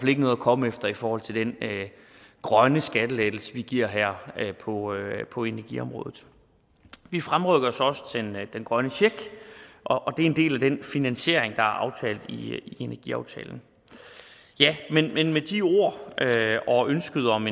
ikke noget at komme efter i forhold til den grønne skattelettelse vi giver her på på energiområdet vi fremrykker så også den grønne check og det er en del af den finansiering der er aftalt i energiaftalen ja men med de ord og ønsket om